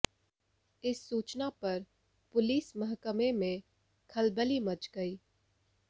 इस सूचना पर पुलिस महकमे में खलबली मच गई